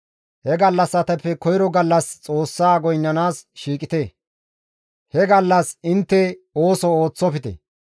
He gallassatappe koyro gallas Xoossa goynnanaas shiiqite; he gallas intte ooso ooththofte.